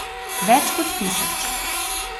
Več kot tisoč.